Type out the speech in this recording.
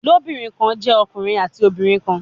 Ilobirin kan jẹ ọkunrin ati obinrin kan